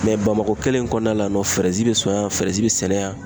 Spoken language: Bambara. bamakɔ kelen in kɔnɔna la yan nɔ be sɔn yan, be sɛnɛ yan.